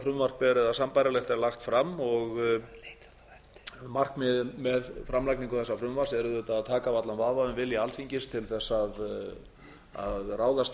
frumvarp eða sambærilegt er lagt fram og markmiðið með framlagningu þessa frumvarps er auðvitað að taka af allan vafa um vilja alþingis til að ráðast þegar í